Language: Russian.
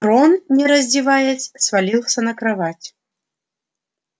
рон не раздеваясь свалился на кровать